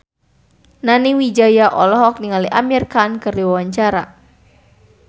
Nani Wijaya olohok ningali Amir Khan keur diwawancara